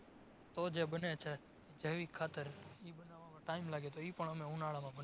તો જે બને છે જૈવિક ખાતર, એ બનાવમાં time લાગે છે તો ઇ પણ અમે ઉનાળામાં બનાવી